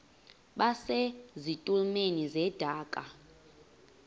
base zitulmeni zedaka